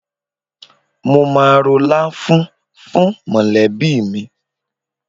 Mo máa ro láfún fún mọ̀lẹ́bí mi.